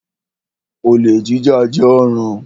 Olè jíjà jẹ́ ọ̀ràn.